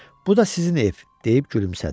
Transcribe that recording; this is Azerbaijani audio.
“Bu da sizin ev”, deyib gülümsədi.